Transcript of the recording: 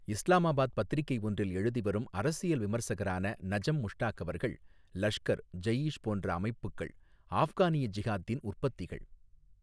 இஸ்லாமாபாத் பத்திரிக்கை ஒன்றில், எழுதிவரும் அரசியல் விமர்சகரான நஜம் முஷ்டாகவர்கள், லஷ்கர், ஜெயீஷ் போன்ற அமைப்புக்கள், ஆஃப்கானிய ஜிஹாத்தின் உற்பத்திகள்.